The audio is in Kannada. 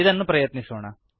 ಇದನ್ನು ಪ್ರಯತ್ನಿಸೋಣ